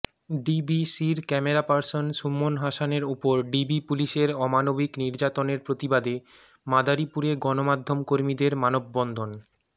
ডিবিসির cameraperson Suman হাসানের উপর DB পুলিশের অমানবিক নির্যাতনের প্রতিবাদে মাদারীপুরে গণমাধ্যমকর্মীদের মানববন্ধন